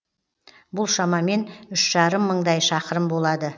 бұл шамамен үш жарым мыңдай шақырым болады